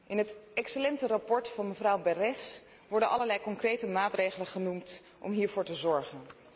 In het excellente verslag van mevrouw Berès worden allerlei concrete maatregelen genoemd om hiervoor te zorgen.